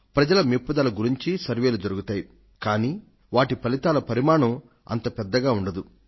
ప్రజల మెప్పుదల గురించీ సర్వేక్షణలు జరుగుతాయి కాని వాటి ఫలితాల పరిమాణం అంత పెద్దగా ఉండదు